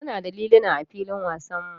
Muna da liluna a filin wasanmu.